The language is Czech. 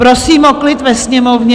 Prosím o klid ve Sněmovně!